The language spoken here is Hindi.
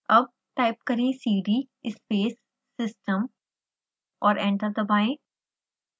अब टाइप करें cd space system और एंटर दबाएं